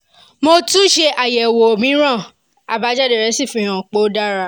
mo tún ṣe àyẹ̀wò ẹ̀jẹ̀ mìíràn àbájáde rẹ̀ sì fi hàn pé ó dára